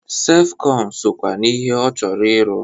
Sefkọn sokwa n'ihe ọ chọrọ ịrụ.